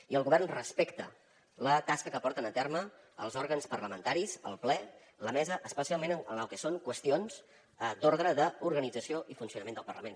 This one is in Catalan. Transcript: i el govern respecta la tasca que porten a terme els òrgans parlamentaris el ple la mesa especialment en el que són qüestions d’ordre d’organització i funcionament del parlament